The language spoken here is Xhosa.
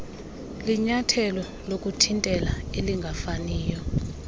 linyathelo lokuthintela elingafaniyo